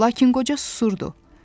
Lakin qoca susurdu.